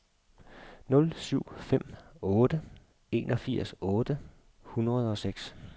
nul syv fem otte enogfirs otte hundrede og seks